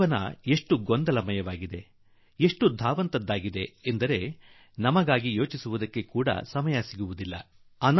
ಜೀವನ ಎಳೆದಾಟದ್ದಾಗಿ ಬಿಟ್ಟಿದೆ ಗಡಿಬಿಡಿಯದ್ದಾಗಿ ಬಿಟ್ಟಿದೆ ಬಹಳಷ್ಟು ಸಲ ನಾವು ನಮ್ಮ ಬಗ್ಗೆ0iÉುೀ ಯೋಚಿಸಲೂ ಕೂಡಾ ಸಮಯವಿಲ್ಲದ್ದಾಗಿ ಬಿಟ್ಟಿದೆ